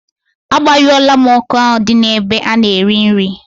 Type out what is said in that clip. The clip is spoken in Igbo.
A gbanyụo la m ọkụ ahụ di n'ebe a na-erị nrị